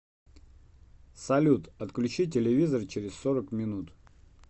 салют отключи телевизор через сорок минут